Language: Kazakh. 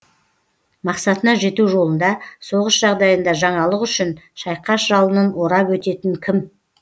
мақсатына жету жолында соғыс жағдайында жаңалық үшін шайқас жалынын орап өтетін кім